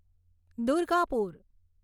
Durgapur